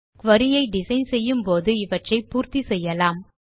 குரி ஐ டிசைன் செய்யும் போது இவற்றை பூர்த்தி செய்யலாம்